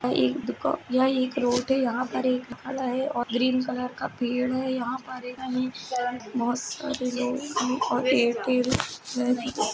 यह एक रोड है। यहाँ पर एक है और ग्रीन कलर का पेड है बहोत सारे लोग